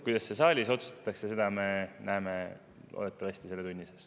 Kuidas saalis otsustatakse, seda me näeme loodetavasti selle tunni sees.